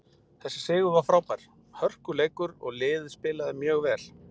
Þessi sigur var frábær, hörkuleikur og liðið spilaði mjög vel.